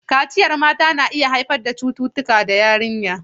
Kaciyar mata na iya haifar da cututtuka ga yarinya.